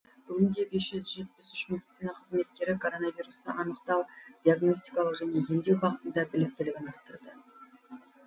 бүгінде бес жүз жетпіс үш медицина қызметкері коронавирусты анықтау диагностикалау және емдеу бағытында біліктілігін арттырды